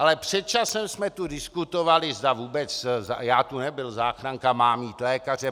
Ale před časem jsme tu diskutovali, zda vůbec, já tu nebyl, záchranka má mít lékaře.